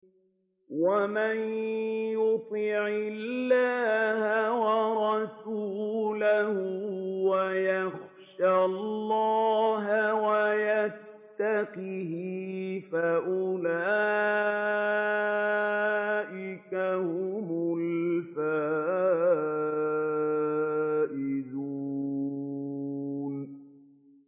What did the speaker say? وَمَن يُطِعِ اللَّهَ وَرَسُولَهُ وَيَخْشَ اللَّهَ وَيَتَّقْهِ فَأُولَٰئِكَ هُمُ الْفَائِزُونَ